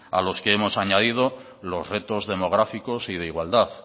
a los que hemos añadido los retos demográficos y de igualdad